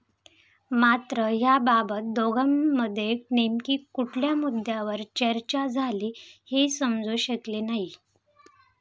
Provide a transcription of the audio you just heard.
मात्र याबाबत दोघांमध्ये नेमकी कुठल्या मुद्द्यावर चर्चा झाली हे समजू शकले नाही.